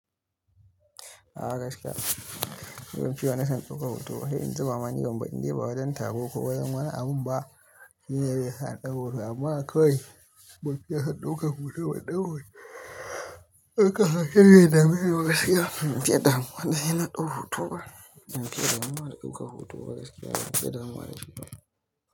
A gaskiya, in fita na san ɗauko hoto. Sai in zuba mani gomba in je bazan taɓa ko wayar mana. Amma ba shine yasa na ɗau hoto ba. Amma akwai batira san ɗauka hoto batira san ɗau hoto. Akai hakka shine ya dabi zuwa gaskiya. Ban fiya damuwa da shi yana ɗau hoto ba. Ban fiya damuwa da shi ya ɗauka hoto ba gaskiya. Ban fiya damuwa da shi ba.